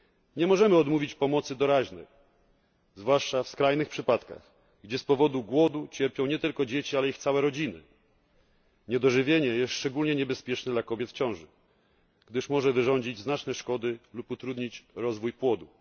Nie możemy odmówić pomocy doraźnej, zwłaszcza w skrajnych przypadkach, gdzie z powodu głodu cierpią nie tylko dzieci, ale ich całe rodziny. Niedożywienie jest szczególnie niebezpieczne dla kobiet w ciąży, gdyż może wyrządzić znaczne szkody lub utrudnić rozwój płodu.